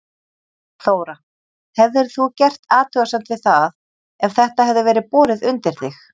Þóra: Hefðir þú gert athugasemd við það ef þetta hefði verið borið undir þig?